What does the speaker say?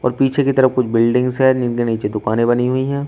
और पीछे की तरफ कुछ बिल्डिंग्स है जिनके नीचे दुकानें बनी हुई हैं।